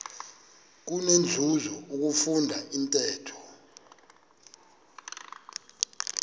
kunenzuzo ukufunda intetho